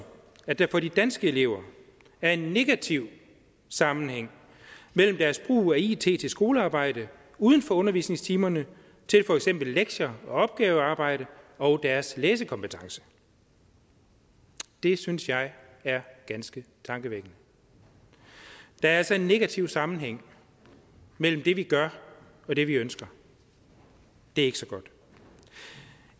at der for de danske elever er en negativ sammenhæng mellem deres brug af it til skolearbejde uden for undervisningstimerne til for eksempel lektier og opgaverarbejde og deres læsekompetence det synes jeg er ganske tankevækkende der er altså en negativ sammenhæng mellem det vi gør og det vi ønsker det er ikke så godt